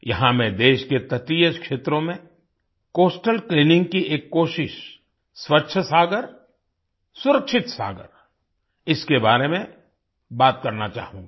यहाँ मैं देश के तटीय क्षेत्रों में कोस्टल क्लीनिंग की एक कोशिश स्वच्छ सागर सुरक्षित सागर इसके बारे में बात करना चाहूंगा